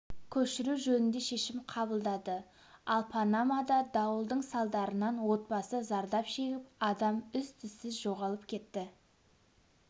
көшіру жөнінде шешім қабылдады ал панамада дауылдың салдарынан отбасы зардап шегіп адам із-түзсіз жоғалып кетті